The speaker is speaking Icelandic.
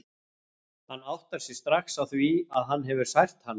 Hann áttar sig strax á því að hann hefur sært hana.